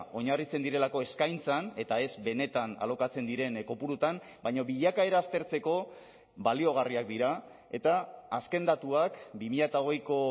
oinarritzen direlako eskaintzan eta ez benetan alokatzen diren kopuruetan baina bilakaera aztertzeko baliagarriak dira eta azken datuak bi mila hogeiko